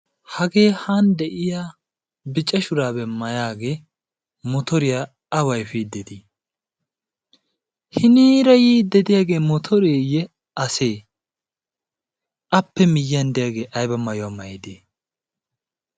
hagee yan de'iya biccashuraabee mayaagee motoriyaa a waygiidii hiniira yii dediyaagee motoreeyye asee appe miyyiyan deyaagee ayba mayuwaa mayide?